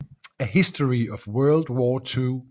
A History Of World War Two